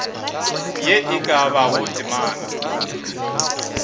ye e ka bago temana